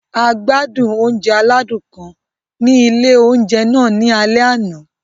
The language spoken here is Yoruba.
A gbádùn oúnjẹ aládùn kan ni ilé oúnjẹ náà ní alẹ́ àná.